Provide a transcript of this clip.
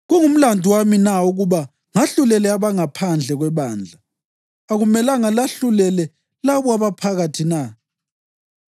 Kungumlandu wami na ukuba ngahlulele abangaphandle kwebandla? Akumelanga lahlulele labo abaphakathi na?